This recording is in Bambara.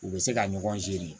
U bɛ se ka ɲɔgɔn seegin